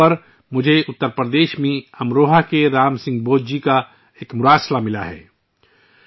مائی گوو پر، مجھے اتر پردیش میں امروہہ کے رام سنگھ بودھ جی کا ایک خط موصول ہوا ہے